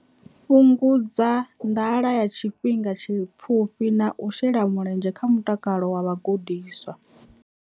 Fhungudza nḓala ya tshifhinga tshipfufhi na u shela mulenzhe kha mutakalo wa vhagudiswa.